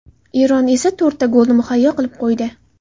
Eron esa to‘rtta golni muhayyo qilib qo‘ydi.